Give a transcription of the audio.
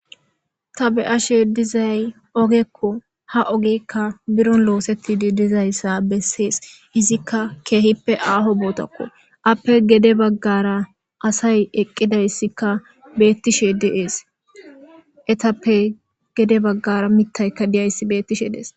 ta be'ashe dizay ogekko ha ogekka biron losetidi dizaysa beses izikka kehippe aho botakko ape gede bagara asay eqidaysikka betishe de'es etappe gede bagara mitaykka diyaysi betishe dees.